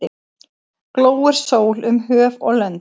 Glóir sól um höf og lönd.